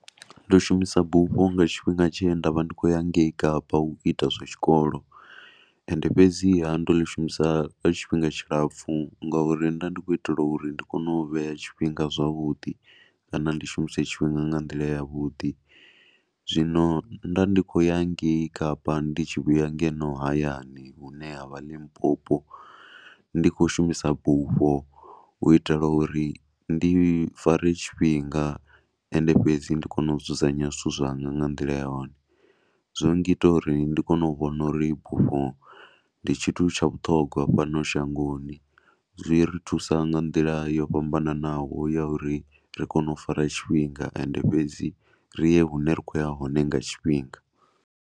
Ndo shumisa bufho nga tshifhinga tshe nda vha ndi khou ya ngei kapa u ita zwa tshikolo ende fhedziha ndo ḽi shumisa lwa tshifhinga tshilapfhu ngauri nda ndi khou itela uri ndi kone u vhe tshifhinga zwavhuḓi kana ndi shumise tshifhinga nga nḓila yavhuḓi. Zwino nda ndi khou ya ngei kapa ndi tshi vhuya hayani hune ha vha Limpopo ndi khou shuma bufho u itela uri ndi fare tshifhinga. Ende fhedzi ndi kone u nzudzanyo zwithu zwanga nga nḓila yone. Zwo ngita uri ndi kone u vhona uri bufho ndi tshithu tsha vhuṱhongwa fhano shangoni, zwi ri thusa nga nḓila yo fhambananaho ya uri ri kone u fara tshifhinga. Ende fhedzi ri ye hune ra khou ya hone nga tshifhinga.